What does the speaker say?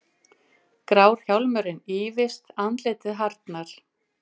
Grár hjálmurinn ýfist, andlitið harðnar.